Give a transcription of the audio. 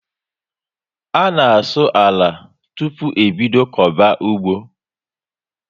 A na asụ àlà tupu e bídó koba ụgbọ